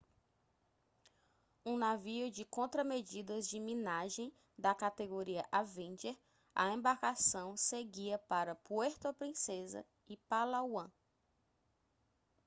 um navio de contramedidas de minagem da categoria avenger a embarcação seguia para puerto princesa em palawan